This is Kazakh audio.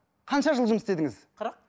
қанша жыл жұмыс істедіңіз қырық